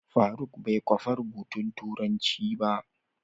Faruk bai kwafa rubutun turanci ba.